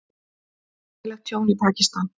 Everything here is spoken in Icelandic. Gríðarlegt tjón í Pakistan